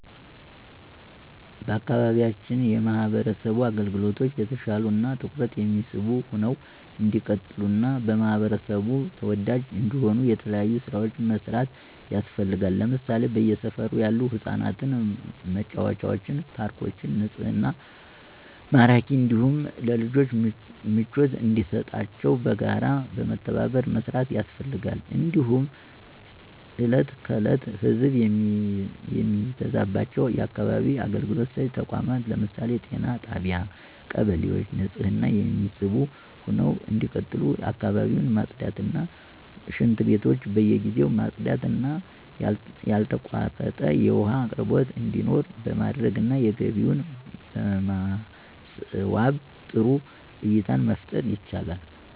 በአካባቢያችን የማህበረሰብ አገልግሎቶች የተሻሉ እና ትኩረት የሚስቡ ሁነው እንዲቀጥሉ እና በህብረተሰቡ ተወዳጅ እንዲሆኑ የተለያዩ ስራዎች መስራት ያስፈልጋል ለምሳሌ በየሰፈሩ ያሉ የህፃናት መጫወቻ ፓርኮችን ንፁህና ማራኪ እንዲሁም ለልጆች ምቾት እንዲሰጣቸው በጋራ በመተባበር መስራት ያስፈልጋል። እንዲሁም እለት ከዕለት ህዘብ የሚበዛባቸው የአካባቢ አገልግሎት ሰጭ ተቋማት ለምሳሌ ጤና ጣቢያ እና ቀበሌዎች ንፁህ እና የሚስቡ ሁነው እንዲቀጥሉ አካባቢን ማፅዳት እና ሽንትቤቶች በየጊዜው ማፅዳት እና ያልተቋረጠ የውሃ አቅርቦት እንዲኖር በማድረግ እና ግቢውን በማስዋብ ጥሩ እይታን መፍጠር ይቻላል።